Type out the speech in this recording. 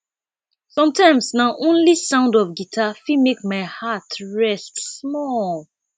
sometimes na only sound of guitar fit make my heart rest small